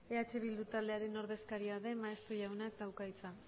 eh bildu taldearen ordezkaria den maeztu jauna dauka hitza